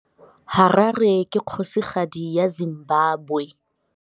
Harare ke kgosigadi ya Zimbabwe.